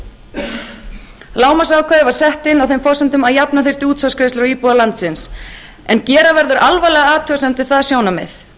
sé nefnt lágmarksákvæðið var sett inn á þeim forsendum að jafna þyrfti útsvarsgreiðslur á íbúa landsins en gera verður alvarlega athugasemd við það sjónarmið